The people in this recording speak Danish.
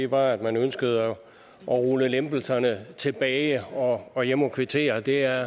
var at man ønskede at rulle lempelserne tilbage og jeg må kvittere det er